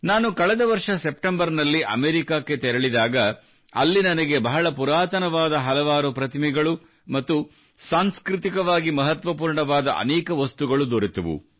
ನಾನು ಕಳೆದ ವರ್ಷ ಸೆಪ್ಟೆಂಬರ್ ನಲ್ಲಿ ಅಮೇರಿಕಕ್ಕೆ ತೆರಳಿದಾಗ ಅಲ್ಲಿ ನನಗೆ ಬಹಳ ಪುರಾತನವಾದ ಹಲವಾರು ಪ್ರತಿಮೆಗಳು ಮತ್ತು ಸಾಂಸ್ಕೃತಿಕವಾಗಿ ಮಹತ್ವಪೂರ್ಣವಾದ ಅನೇಕ ವಸ್ತುಗಳು ದೊರೆತವು